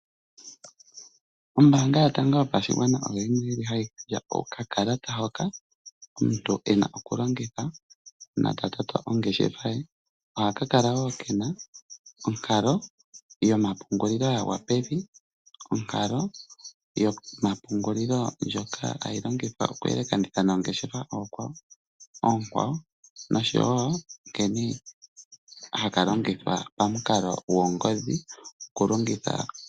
Ombaanga Yotango Yopashigwana oyo yimwe hayi gandja okakalata hoka omuntu e na okulongitha uuna ta toto ongeshefa ye. Ohaka kala wo ke na iihohela yomapungulilo ya gwa pe vi, onkalo yomapungulilo ndjoka hayi longithwa okuyelekanitha noongeshefa oonkwawo noshowo nkene haka longithwa pamukalo goongodhi.